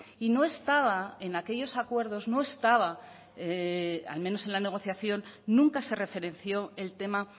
y no estaba en aquellos acuerdos no estaba al menos en la negociación nunca se referenció el tema